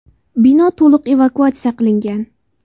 Bino to‘liq evakuatsiya qilingan.